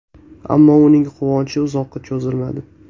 Ammo uning quvonchi uzoqqa cho‘zilmadi.